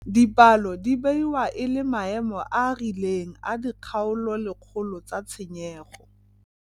Dipalo di beiwa e le maemo a a rileng a dikgaololekgolo tsa tshenyego.